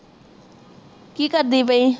ਕਿ ਕਰਦੀ ਪਈ